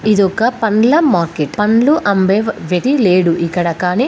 ఇదొక పండ్ల మార్కెట్ . పండ్లు అమ్మే వా విధి లేడు ఇక్కడ కాని --